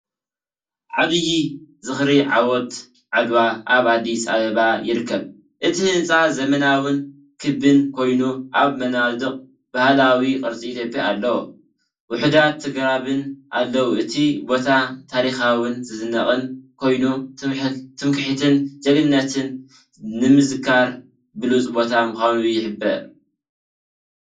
ዓብይ ዝኽሪ ዓወት ዓድዋ ኣብ ኣዲስ ኣበባ ይርከብ። እቲ ህንጻ ዘመናውን ክቢን ኮይኑ፡ ኣብ መናድቕ ባህላዊ ቅርጺ ኢትዮጵያ ኣለዎ። ውሑዳት ኣግራብን ኣለው፣ እቲ ቦታ ታሪኻውን ዝድነቕን ኮይኑ፡ ትምክሕትን ጅግንነትን ንምዝካር ብሉጽ ቦታ ምዃኑ ይሕብር፡፡